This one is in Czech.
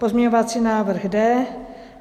Pozměňovací návrh D.